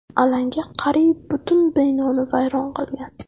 Alanga qariyb butun binoni vayron qilgan.